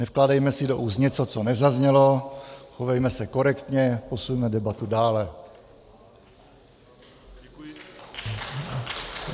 Nevkládejme si do úst něco, co nezaznělo, chovejme se korektně, posuňme debatu dále.